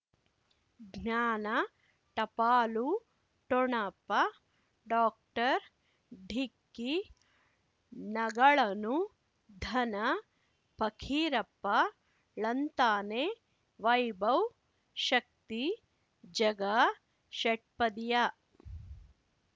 ಜ್ಞಾನ ಟಪಾಲು ಠೊಣಪ ಡಾಕ್ಟರ್ ಢಿಕ್ಕಿ ಣಗಳನು ಧನ ಫಕೀರಪ್ಪ ಳಂತಾನೆ ವೈಭವ್ ಶಕ್ತಿ ಝಗಾ ಷಟ್ಪದಿಯ